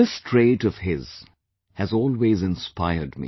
This trait of his has always inspired me